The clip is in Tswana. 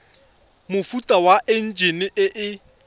mofuta wa enjine e e